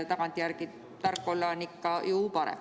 Tagantjärele tark olla on ikka ju kergem.